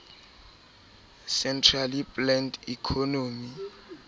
centrally planned economy